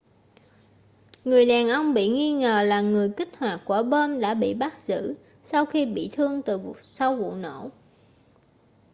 người đàn ông bị nghi ngờ là người kích hoạt quả bom đã bị bắt giữ sau khi bị thương từ sau vụ nổ